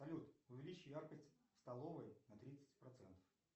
салют увеличь яркость в столовой на тридцать процентов